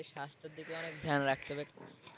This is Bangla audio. আমাদের স্বাস্থ্যের দিকে অনেক খেয়াল রাখতে হবে।